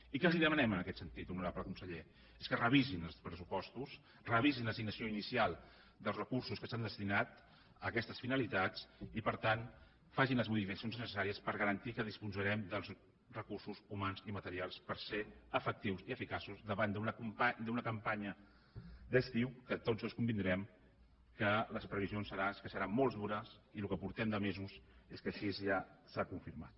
i què els demanem en aquest sentit honorable conseller doncs que revisin els pressupostos revisin l’assignació inicial dels recursos que s’han destinat a aquestes finalitats i per tant facin les modificacions necessàries per garantir que disposarem dels recursos humans i materials per ser efectius i eficaços davant d’una campanya d’estiu que tots dos convindrem que les previsions són que serà molt dura i el que portem de mesos és que així ja s’ha confirmat